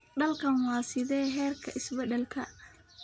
Dalkan waa sidee heerka is-beddelka